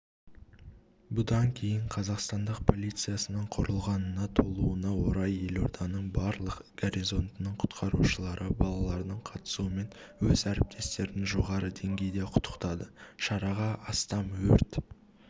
бұдан кейін қазақстандық полициясының құрылғанына толуына орай елорданың барлық гарнизонының құтқарушылары балалардың қатысуымен өз әріптестерін жоғары деңгейде құттықтады шараға астам өрт